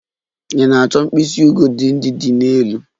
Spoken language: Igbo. Ị na-achọ mkpịsị ugodi ndị dị n'elu?